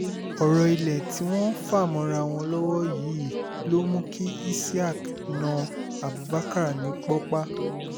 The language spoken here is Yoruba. ọ̀rọ̀ ilé tí wọ́n ń fà mọ́ra wọn lọ́wọ́ yìí ló mú kí isiaq na abubakar ní pọ́pá